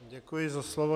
Děkuji za slovo.